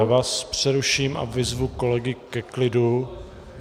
Já vás přeruším a vyzvu kolegy ke klidu.